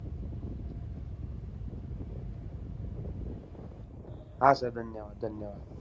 हा sir. धन्यवाद धन्यवाद!